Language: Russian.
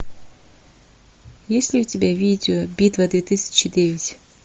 есть ли у тебя видео битва две тысячи девять